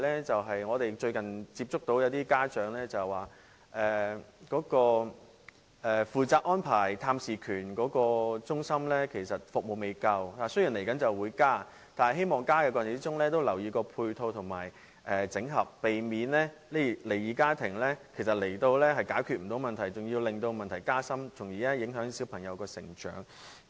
最後，我想說的是，最近一些家長向我們表示，負責安排探視權的中心服務不足，雖然將會加強服務，但希望當局在過程中能留意配套和整合，避免離異家庭來到的時候解決不到問題，反而令問題加深，因而影響小朋友的成長。